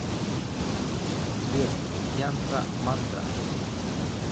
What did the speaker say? сбер янтра мантра